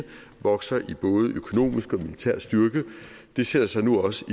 vokser i både økonomisk og militær styrke sætter sig nu også